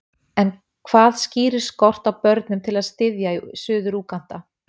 En hvað skýrir skort á börnum til að styðja í Suður-Úganda?